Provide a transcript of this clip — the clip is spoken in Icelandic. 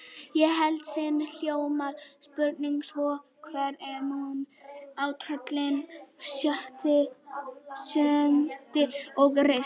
Í heild sinni hljómaði spurningin svona: Hver er munurinn á trölli, jötni og risa?